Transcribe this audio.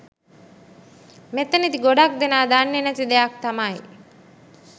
මෙතනදි ගොඩක් දෙනා දන්නේ නැති දෙයක් තමයි